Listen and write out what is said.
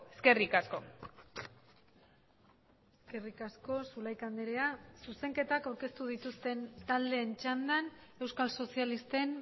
eskerrik asko eskerrik asko zulaika andrea zuzenketak aurkeztu dituzten taldeen txandan euskal sozialisten